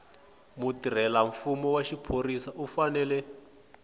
mutirhelamfumo wa xiphorisa u fanele